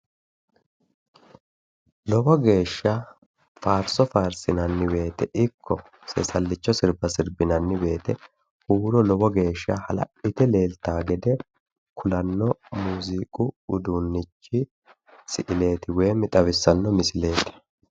lowo geeshsha faarso faarsinanni wote ikko seesallicho sirba sirbinanni wote huuro lowo geeshsha hala'lite leeltaa gede kulanno muziiqi uduunnichi misileeti woyi siileeti,